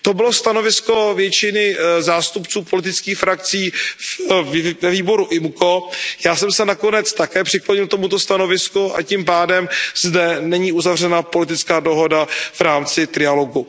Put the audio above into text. To bylo stanovisko většiny zástupců politických frakcí ve výboru IMCO, já jsem se nakonec také přiklonil k tomuto stanovisku a tím pádem zde není uzavřena politická dohoda v rámci trialogu.